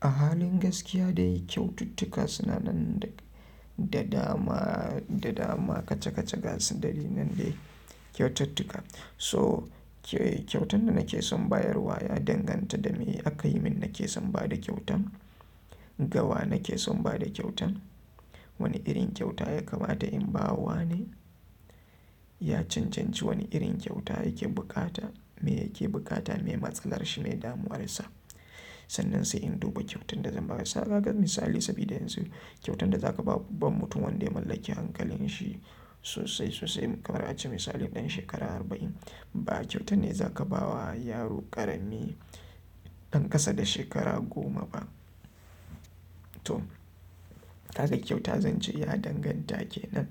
A halin gaskiya dai kyaututtuka suna nan da da dama kaca-kaca ga su. Dalilin dai kyautattuka. So kyautan da nake son bayarwa ya danganta da me aka yi min nake son ba da kyautan. Da wa nakeson bada kyautan. Wane irin kyauta ya kamata in ba wa ne? A cencecin wane irin kyauta yake bukata, me yake bukata, me matsalar shi, me damuwar sa? Sannan sai in duba kyautan da zan ba. Saga ga misali, saboda yanzu kyautan da za ka bawa baban mutum wanda ya mallaki hankalin shi sosai, sosai kamar ace misali ɗan shekara arba in ba kyautan ne za ka ba wa yaro ƙarami ɗan ƙasa da shekara goma ba. To, haka kyauta zan ce ya danganta kenan.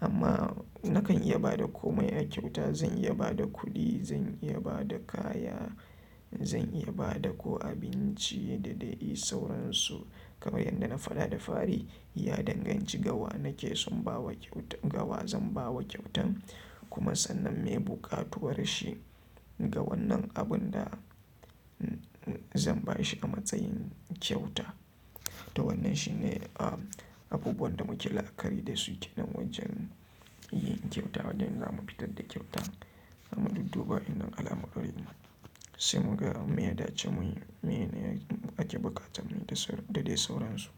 Amma na kan iya ba da komai a kyauta. Zan iya ba da kuɗi, zan iya ba da kaya, zan iya ba da ko abinci da dai sauransu. Kamar yadda na faɗa da fari, ya danganci ga wa nake son bawa kyauta, ga wa zan ba kyautan kuma sannan me buƙatuwar shi ga wannan abun da zan ba shi a matsayin kyauta. To wannan shi ne abubuwan da muke la'akari da su kenan wajen yin kyauta. Wajen zamu fitar da kyauta amma dudduba inda alamarin mu, sai mu ga me ya dace, me ne yake buƙata muyi da dai sauransu.